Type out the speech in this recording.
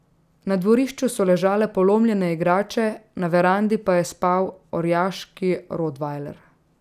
Na dvorišču so ležale polomljene igrače, na verandi pa je spal orjaški rotvajler.